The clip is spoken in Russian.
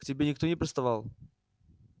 к тебе никто не приставал